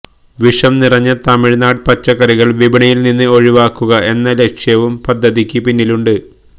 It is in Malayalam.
വിഷം നിറഞ്ഞ തമിഴ്നാട് പച്ചക്കറികള് വിപണിയില് നിന്ന് ഒഴിവാക്കുക എന്ന ലക്ഷ്യവും പദ്ധതിക്ക് പിന്നില് ഉണ്ട്